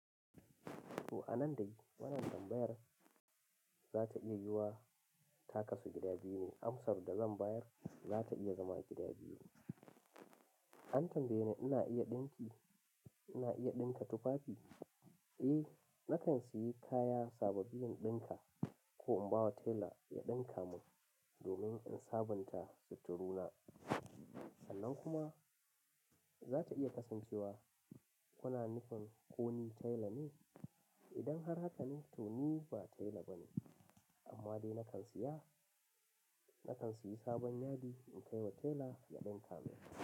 To a nan dai wannan tambayar za ta iya yiwuwa ta kasu gida biyu ne. Am sar da zan bayar za ta iya zama gida biyu. An tambaye ni ina iya ɗinki, ina iya ɗinka tufafi? Eh, na kan siyi kaya sababbi in ɗinka ko in ba wa tela ya ɗinka mun domin in sabunta sitturu na. Sannan kuma za ta iya kasancewa kuna nufin ko ni tela ne? Idan har haka ne to ni ba tela bane. Amma dai na kan siya, na kan siyi sabon yadi in kai wa tela ya ɗinka min.